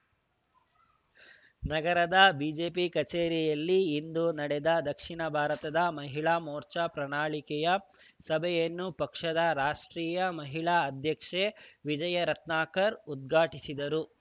ನಗರದ ಬಿಜೆಪಿ ಕಛೇರಿಯಲ್ಲಿ ಇಂದು ನಡೆದ ದಕ್ಷಿಣ ಭಾರತದ ಮಹಿಳಾ ಮೋರ್ಚಾ ಪ್ರಣಾಳಿಕೆ ಸಭೆಯನ್ನು ಪಕ್ಷದ ರಾಷ್ಟ್ರೀಯ ಮಹಿಳಾ ಅಧ್ಯಕ್ಷೆ ವಿಜಯ ರತ್ನಾಕರ್ ಉದ್ಘಾಟಿಸಿದರು